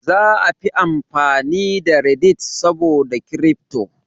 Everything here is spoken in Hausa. Za a fi amfani da "Reddit" saboda Kirifto